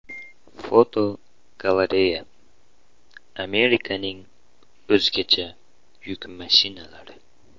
Fotogalereya: Amerikaning o‘zgacha yuk mashinalari.